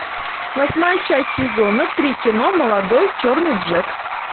восьмая часть сезона три кино молодой черный джек